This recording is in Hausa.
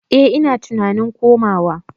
Eh ina tunanin komawa.